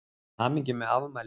Til hamingju með afmælið.